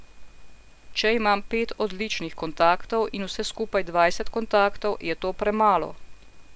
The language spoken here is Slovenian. Če imam pet odličnih kontaktov in vse skupaj dvajset kontaktov, je to premalo.